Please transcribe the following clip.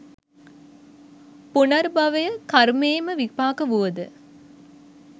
පුනර්භවය කර්මයේම විපාකය වුවද,